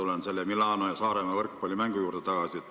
Ma tulen selle Milano ja Saaremaa võrkpallimängu juurde tagasi.